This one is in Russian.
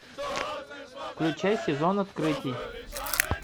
включай сезон открытий